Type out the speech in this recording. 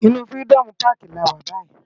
Inú Firidòmú Pàkí làwá bàyí